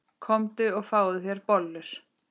Komdu og fáðu þér bollur.